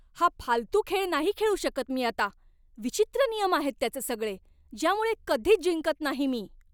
हा फालतू खेळ नाही खेळू शकत मी आता. विचित्र नियम आहेत त्याचे सगळे, ज्यामुळे कधीच जिंकत नाही मी.